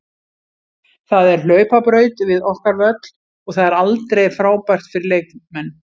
Það er hlaupabraut við okkar völl og það er aldrei frábært fyrir leikmenn.